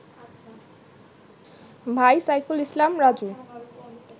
ভাই সাইফুল ইসলাম রাজু